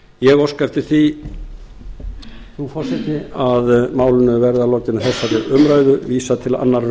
ég óska eftir því frú forseti að málinu verði að lokinni þessari